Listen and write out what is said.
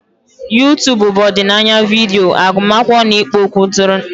YouTubu bụ ọdịnaya vidiyo, agụmakwụkwọ na ikpo okwu ntụrụndụ.